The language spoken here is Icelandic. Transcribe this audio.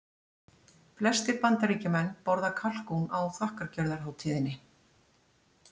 Flestir Bandaríkjamenn borða kalkún á þakkargjörðarhátíðinni.